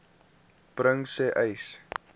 bring sê uys